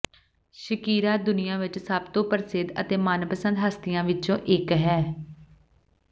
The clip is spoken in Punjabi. ਸ਼ਕੀਰਾ ਦੁਨੀਆਂ ਵਿਚ ਸਭ ਤੋਂ ਪ੍ਰਸਿੱਧ ਅਤੇ ਮਨਪਸੰਦ ਹਸਤੀਆਂ ਵਿਚੋਂ ਇਕ ਹੈ